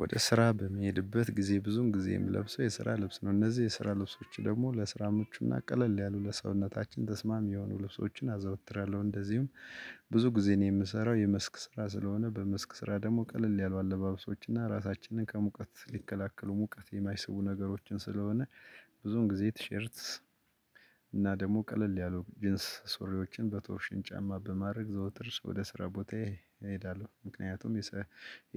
ወደ ስራ በመሄድበት ጊዜ ብዙን ጊዜ የምለብሰው የስራ ልብስ ነው እነዚህ የስራ ልብሶች ደግሞ ለስራም እምቹ ቀለል ያሉ ለሰውነታችን ተስማሚ የሆኑ ልብሶችን አዘወትራለው እንደዚሁም። ብዙ ጊዜ ነው የምሰራው የመስክ ስራ ስለሆነ በመስክ ስራ ደግሞ ቀለል ያሉ አለባበሶች እና ራሳችንን ከሙቀት ሊከላከሉ ሙቀት የማይስቡ ነገሮችን ስለሆነ። ብዙን ጊዜ ቲሸርት እና ደግሞ ቀለል ያሉ ጂንስ ሱሪዎችን በቶርሽን ጫማ በማድረግ ዘውትር ወደ ስራ ቦታዬ እሄዳለው። ምክንያቱም